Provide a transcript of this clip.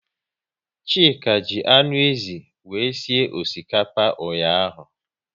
Chika ji anụ ézì wee sie osikapa ụnyaahụ